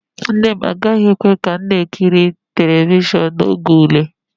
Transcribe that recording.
Nne m agaghị ekwe ka ị na-ekiri telivishọn n'oge ule